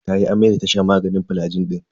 Tayi amai da ta sha maganin flagil din.